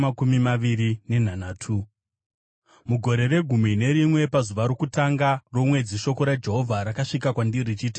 Mugore regumi nerimwe, pazuva rokutanga romwedzi, shoko raJehovha rakasvika kwandiri richiti,